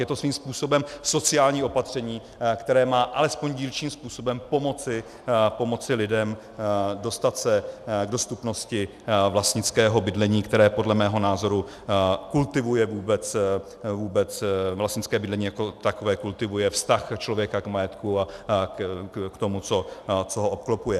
Je to svým způsobem sociální opatření, které má alespoň dílčím způsobem pomoci lidem dostat se k dostupnosti vlastnického bydlení, které podle mého názoru kultivuje vůbec vlastnické bydlení jako takové, kultivuje vztah člověka k majetku a k tomu, co ho obklopuje.